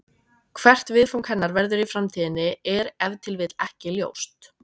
Hvert viðfang hennar verður í framtíðinni er ef til vill ekki ljóst.